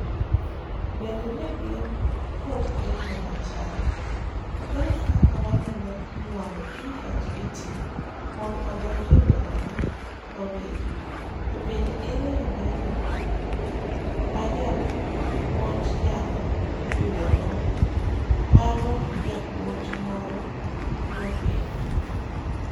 Beende negin kod penjo machal ''ere kaka wanyalo nyuando PhET mondo odonje dwarowa wawegi to bende ere yoo mayot majapuonjnyalo yudogo ,mano japuonj moro nopenjo.